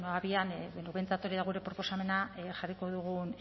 abian edo behintzat hori da gure proposamena jarriko dugun